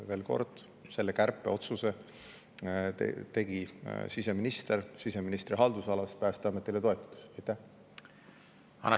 Veel kord: selle kärpeotsuse tegi siseminister siseministri haldusalas oleva Päästeameti toetudes.